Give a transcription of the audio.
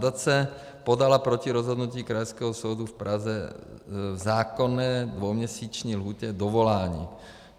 Nadace podala proti rozhodnutí Krajského soudu v Praze v zákonné dvouměsíční lhůtě dovolání.